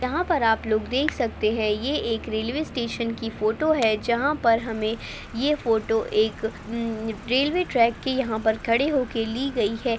यहाँ पर आप लोग देख सकते हैं ये एक रेलवे स्टेशन की फोटो है जहां पर हमें एक रेलवे ट्रैक की यहाँ पर खड़े होकर ली गई है।